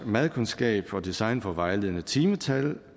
madkundskab og design får vejledende timetal